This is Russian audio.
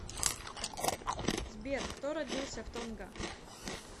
сбер кто родился в тонга